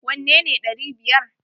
Wanne ne ɗari biyar!